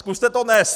Zkuste to dnes!